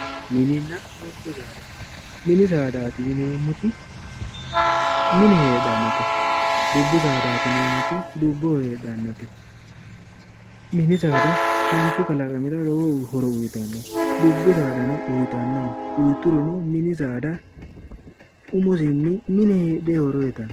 Mininna gobba saada, mininna gobba. saada yineemmori mine heedhanote, dubbu saadati yinneemmoti dubboho heedhanote, mini saada manchi kalaqamira lowo horo uyittanno, dubbu saadano uyittano uyiturono mini saada mine heedheni uyittano.